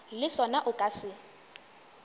le sona o ka se